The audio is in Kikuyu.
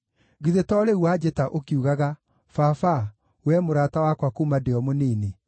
Githĩ to rĩu wanjĩta ũkiugaga: ‘Baba, wee mũrata wakwa kuuma ndĩ o mũnini,